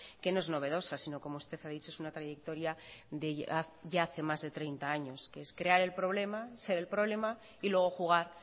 que no es novedosa sino como usted ha dicho es una trayectoria de ya hace más de treinta años que es crear el problema ser el problema y luego jugar